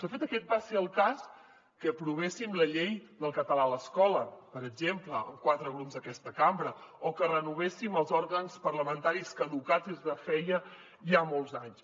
de fet aquest va ser el cas que aprovéssim la llei del català a l’escola per exemple amb quatre grups d’aquesta cambra o que renovessin els òrgans parlamentaris caducats des de feia ja molts anys